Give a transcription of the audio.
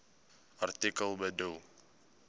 artikel bedoel